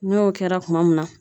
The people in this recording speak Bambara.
N'o kɛra kuma mun na.